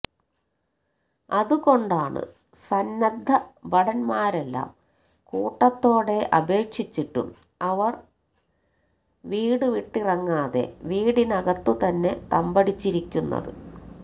അതുകൊണ്ടാണ് സന്നദ്ധ ഭടന്മാരെല്ലാം കൂട്ടത്തോടെ അപേക്ഷിച്ചിട്ടും അവര് വീടു വിട്ടിറങ്ങാതെ വീട്ടിനകത്തു തന്നെ തമ്പടിച്ചിരിക്കുന്നത്